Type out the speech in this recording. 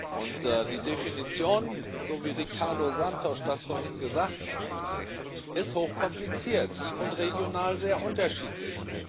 Und die Definition, so wie Ricardo Serrão Santos das vorhin gesagt hat, ist hoch kompliziert und regional sehr unterschiedlich.